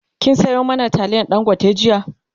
kin Sayo mana taliyar dangote jiya?